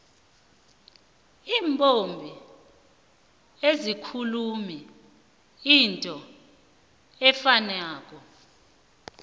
iimbongi azikhulumi into efanako